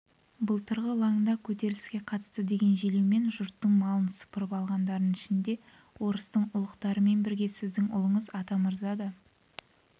былтырғы ылаңда көтеріліске қатысты деген желеумен жұрттың малын сыпырып алғандардың ішінде орыстың ұлықтарымен бірге сіздің ұлыңыз атамырза да